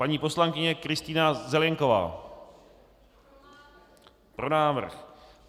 Paní poslankyně Kristýna Zelienková: Pro návrh.